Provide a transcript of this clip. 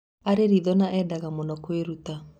" Arĩ ritho na endaga mũno kũĩruta.